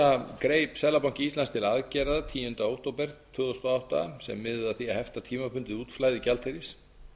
þessa greip seðlabanki íslands til aðgerða tíunda október tvö þúsund og átta sem miðuðu að því að hefta tímabundið útflæði gjaldeyris